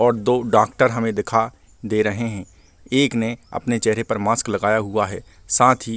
और दो डॉक्टर हमे दिखा दे रहे है एक ने अपने चेहरे पर मास्क लगाया हुआ है साथ ही --